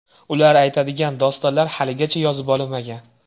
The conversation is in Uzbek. Ular aytadigan dostonlar haligacha yozib olinmagan.